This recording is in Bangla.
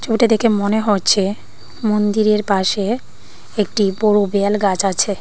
ছবিটা দেখে মনে হচ্ছে মন্দিরের পাশে একটি বড় বেল গাছ আছে।